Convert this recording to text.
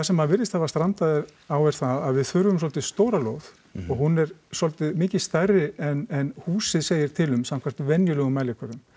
sem virðist hafa strandað á er það að við þurfum svolítið stóra lóð og hún er svolítið mikið stærri en húsið segir til um samkvæmt venjulegum mælikvörðum